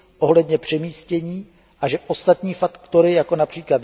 ohledně přemístění, a že ostatní faktory, jako např.